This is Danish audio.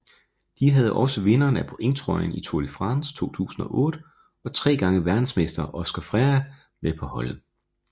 De havde også vinderen af pointtrøjen i Tour de France 2008 og tre gange verdensmester Óscar Freire med på holdet